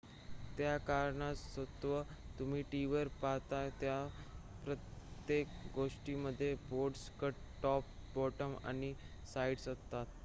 त्या कारणास्तव तुम्ही टीव्हीवर पाहता त्या प्रत्येक गोष्टीमध्ये बॉर्डर्स कट टॉप बॉटम आणि साइड्स असतात